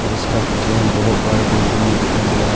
और इसका पीछे में बहुत बड़ा बिल्डिंग भी दिखाई दे रहा है।